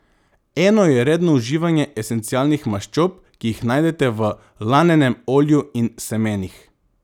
Eno je redno uživanje esencialnih maščob, ki jih najdete v lanenem olju in semenih.